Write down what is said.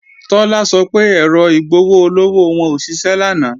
Tọ́lá sọ pé èrò igbowó-ọlọ́wọ́ wọn ò ṣiṣẹ́ lánàá